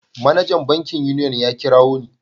Manajan bankin Union ya kirawo ni.